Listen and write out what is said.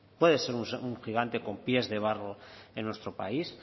puede ser un gigante con pies de barro en nuestro país